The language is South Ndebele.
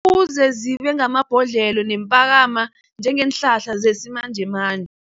Kuze zibengamabhodlelo njengeenhlahla zesimanjemanje.